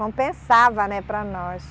Compensava, né, para nós.